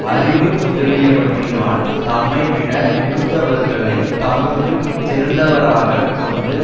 அறிவு முதலியவற்றினால் தம்மைவிட மிகுந்தவர்களை தமக்கு சிறந்தவராகக் கொண்டு